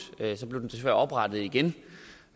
så blev den desværre oprettet igen